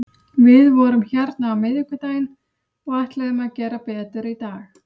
Við vorum hérna á miðvikudaginn og ætluðum að gera betur í dag.